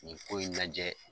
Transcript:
Nin ko in najɛ